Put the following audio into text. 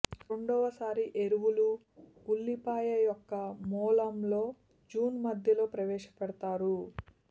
రెండవ సారి ఎరువులు ఉల్లిపాయ యొక్క మూలంలో జూన్ మధ్యలో ప్రవేశపెడతారు